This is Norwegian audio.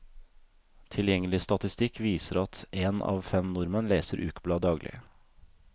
Tilgjengelig statistikk viser at én av fem nordmenn leser ukeblad daglig.